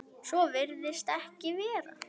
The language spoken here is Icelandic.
Svo virðist ekki vera.